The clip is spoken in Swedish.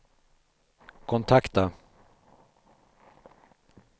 kontakta